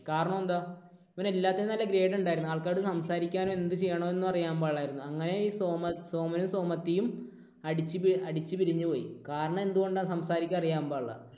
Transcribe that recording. കാരണം എന്താ? ഇവന് എല്ലാത്തിനും നല്ല grade ഉണ്ടായിരുന്നു. പക്ഷെ ആൾക്കാരോട് സംസാരിക്കാനും എന്ത് ചെയ്യണോന്നും അറിയാൻ പാടില്ലായിരുന്നു. അങ്ങനെ ഈ സോമ, സോമനും സോമത്തിയും അടിച്ചു പി അടിച്ചു പിരിഞ്ഞു പോയി. കാരണം എന്തുകൊണ്ടാ? സംസാരിക്കാൻ അറിയാൻ പാടില്ല.